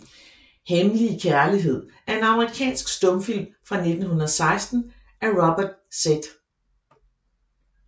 Hemmelig Kærlighed er en amerikansk stumfilm fra 1916 af Robert Z